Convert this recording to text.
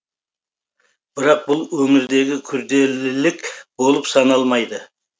бірақ бұл өңірдегі күрделілік болып саналмайды